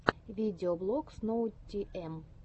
видеоблог сноутиэм